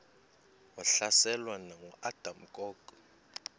wahlaselwa nanguadam kok